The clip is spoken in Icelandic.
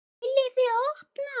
VILJIÐI OPNA!